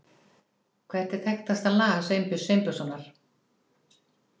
Hvert er þekktasta lag Sveinbjörns Sveinbjörnssonar?